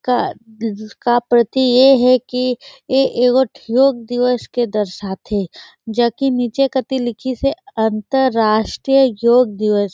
का का प्रती ये हे कि ये एगो ठो योग दिवस के दर्शाथे जोकि नीचे कति लिखीसे अंतर्राष्ट्रीय योग दिवस।